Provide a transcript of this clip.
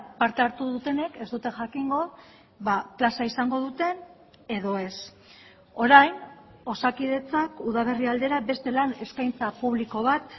parte hartu dutenek ez dute jakingo plaza izango duten edo ez orain osakidetzak udaberri aldera beste lan eskaintza publiko bat